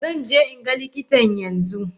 Zanje inga likitan yanzu.